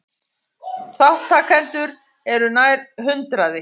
Þátttakendur eru nær hundraði